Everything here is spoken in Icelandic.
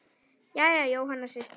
Jæja, Jóhanna systir.